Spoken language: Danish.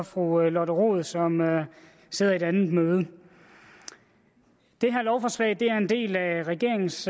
fru lotte rod som sidder i et andet møde det her lovforslag er en del af regeringens